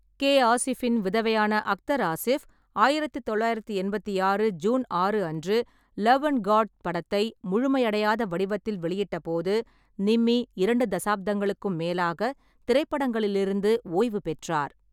கே.அசிஃபின் விதவையான அக்தர் ஆசிஃப் ஆயிரத்து தொள்ளாயிரத்து எண்பத்தி ஆறு ஜூன் ஆறு அன்று லவ் அண்ட் காட் படத்தை முழுமையடையாத வடிவத்தில் வெளியிட்டபோது நிம்மி இரண்டு தசாப்தங்களுக்கும் மேலாக திரைப்படங்களிலிருந்து ஓய்வு பெற்றார்.